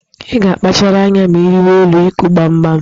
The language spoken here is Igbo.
Ị ga-akpachara anya ma ị rịwa elu ịkụ gbamgbam